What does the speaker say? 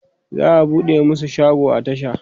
za'a buɗe masu shago a tasha